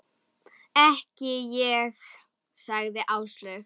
Ekki ég sagði Áslaug.